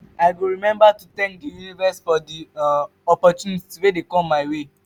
i go remember to thank the universe for the um opportunities wey come my way.